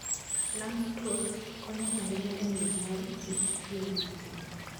langstroth konyo ahinya e miyo mor kich chwer mang'eny.